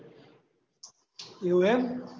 એવું એમ